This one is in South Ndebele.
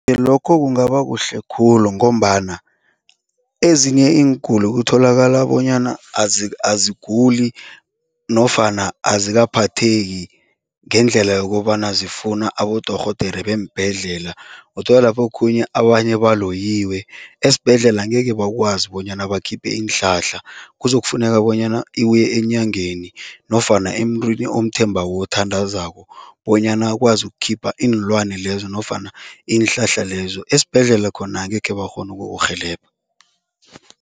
Lokho kungaba kuhle khulu ngombana ezinye iinguli kutholakala bonyana aziguli nofana azikaphatheki ngendlela yokobana zifuna abodorhodere beembhedlela. Uthola lapho okhunye abanye baloyiwe, esibhedlela angeke bakwazi bonyana bakhiphe iinhlahla, kuzokufuneka bonyana uye enyangeni nofana emntwini omthembako othandazako bonyana ukwazi ukukhipha iinlwani lezo nofana iinhlahla lezo. Esibhedlela khona angekhe bakghona ukukurhelebha.